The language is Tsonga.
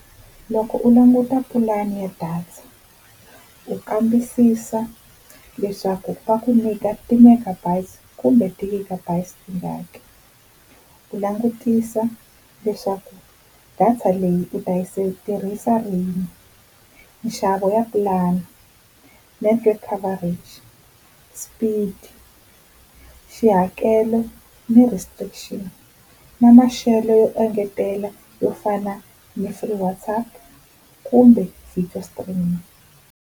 Loko u languta pulani ya data, u kambisisa leswaku va ku nyika ti-megabytes kumbe ti-gigabytes tingaki. Ku langutisa leswaku data leyi u ta yi tirhisa rini. Nxavo ya plan, network coverage, speed, xihakelo ni restrictions. Na maxelo yo engetela yo fana ni free WhatsApp kumbe video stream.